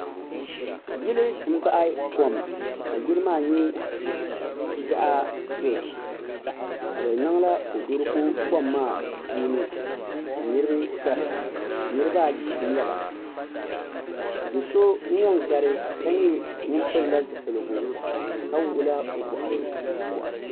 Yili n baɣi kom ka yili maa nyɛ zaɣi dozim ka bi niŋla kodoriko puuni ka niriba garita niriba ayi nyɛ ba do so n yɛn gari ka nyɛ ŋuni pili la zupiligu ka wuɣila o bɔɣiri zuɣusaa.